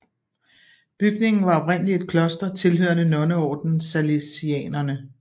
Bygningen var oprindeligt et kloster tilhørende nonneordnen Salesianerne